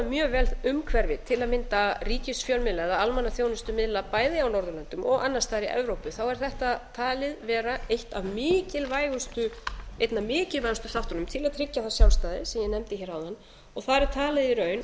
mjög vel umhverfið til að mynda ríkisfjölmiðla eða almannaþjónustumiðla bæði á norðurlöndum og annars staðar í evrópu er þetta talið vera einn af mikilvægustu þáttunum til að tryggja það sjálfstæði sem ég nefndi hér áðan þar er talið í raun að